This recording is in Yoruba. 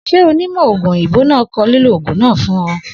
S̩e onímò̩ ògùn òyìnbó náà ko̩ lílò ògùn náà fún o̩?